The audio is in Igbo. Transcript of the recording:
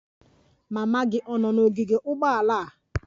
Mama gị ọ̀ nọ n'ogige ụgbọala?